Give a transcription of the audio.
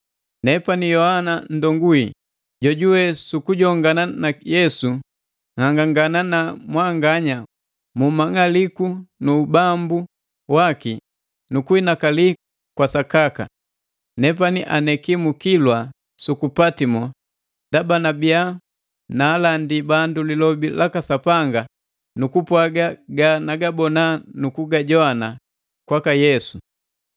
Nepani Yohana nndongu wii, jojuwe su kujongana na Yesu, nhangangana na mwanganya mu mang'aliku nu ubambu waki nu kuinakali kwa sakaka. Nepani aneki mu kilwa suku Patimo ndaba nabiya naalandi bandu lilobi laka Sapanga nu kupwaga ga nagabona nu kugajowana kwaka Yesu.